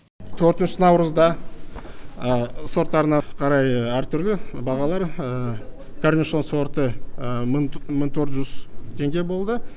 төртінші наурызда сорттарына қарай әртүрлі бағалар корнишон сорты мың төрт жүз теңге болды